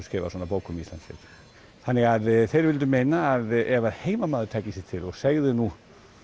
skrifað svona bók um Ísland fyrr þannig að þeir vildu meina að ef heimamaður tæki sig til og segði nú